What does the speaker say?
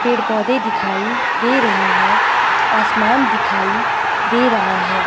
पेड़ पौधे दिखाई दे रहे हैं आसमान दिखाई दे रहा है।